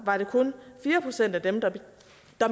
var det kun fire procent af dem der